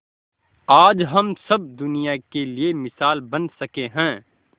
आज हम सब दुनिया के लिए मिसाल बन सके है